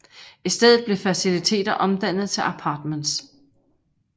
I stedet blev faciliter omdannet til apartments